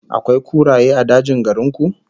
Akwai kuraye a dajin garin ku?